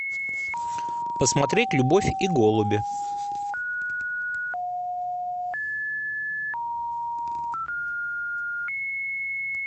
посмотреть любовь и голуби